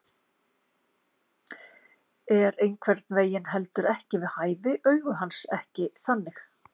Er einhvern veginn heldur ekki við hæfi, augu hans ekki þannig.